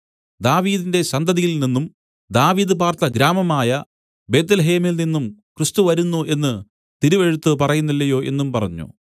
ദാവീദിന്റെ സന്തതിയിൽ നിന്നും ദാവീദ് പാർത്ത ഗ്രാമമായ ബേത്ത്ലേഹേമിൽനിന്നും ക്രിസ്തു വരുന്നു എന്നു തിരുവെഴുത്ത് പറയുന്നില്ലയോ എന്നും പറഞ്ഞു